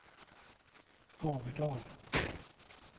Haverdal